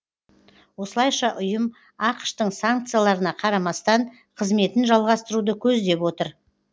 осылайша ұйым ақш тың санкцияларына қарамастан қызметін жалғастыруды көздеп отыр